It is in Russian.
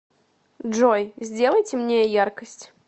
джой сделай темнее яркость